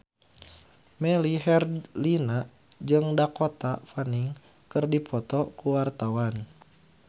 Melly Herlina jeung Dakota Fanning keur dipoto ku wartawan